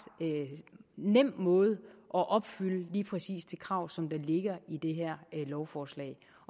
nem måde at opfylde lige præcis de krav som ligger i det her lovforslag